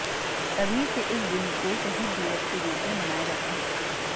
तभी से इस दिन को शहीद दिवस के रूप में मनाया जाता है